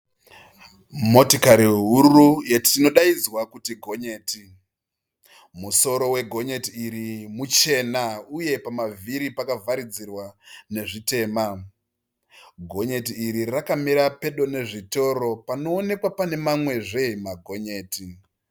Motikari huru inodaidzwa kuti gonyeti. Musoro we gonyeti iri muchena uye pamavhiri pakavharidzirwa nezvitema. Gonyeti iri rakamira pedo nezvitoro panoonekwa pane mamwe zve magonyeti.